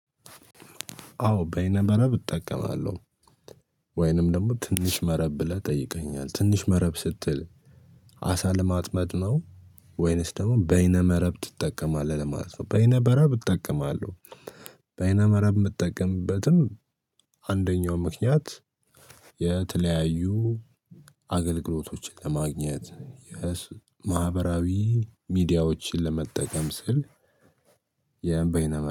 አዎ በይነ መረብ እጠቀማለሁ ወይንም ደግሞ ትንሽ መረብ ብለህ ጠይቀኋኛል ትንሽ መረብ ስትል አሳ ለማጥመድ ነው። ወይንስ ደግሞ በይነ መረብ ትጠቀማለህ ለማለት ነው በይነ መረብ እጠቀማለሁ። በይነ መረብ የምጠቀምበትም አንደኛው ምክንያት የተለያዩ አገልግሎቶችን ለማግኘት ማህበራዊ ሚዲያዎችን ለመጠቀም ስል። የ በይነ መረብ